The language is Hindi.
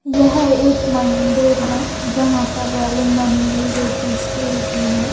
यह एक मंदिर है जहां पर रेलिंग बनी हुई जो कि स्टील की है।